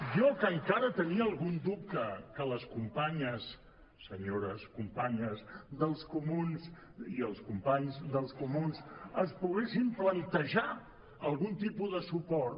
jo que encara tenia algun dubte que les companyes senyores companyes dels comuns i els companys dels comuns es poguessin plantejar algun tipus de suport